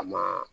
A ma